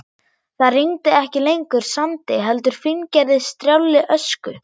Það rigndi ekki lengur sandi heldur fíngerðri strjálli ösku.